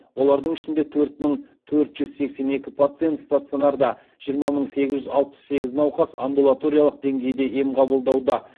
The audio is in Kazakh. олардың ішінде төрт мың төрт жүз сексен екі пациент стационарда жиырма мың сегіз жүз алпыс сегіз науқас амбулаториялық деңгейде ем қабылдауда